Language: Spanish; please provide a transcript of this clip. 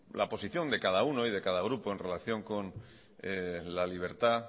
la posición de cada uno y cada grupo en relación con la libertad